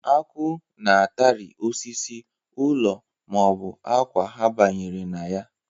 Akwụ na-atari osisi, ụlọ ma ọ bụ akwa ha banyere na ya.